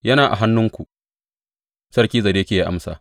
Yana a hannuwanku Sarki Zedekiya ya amsa.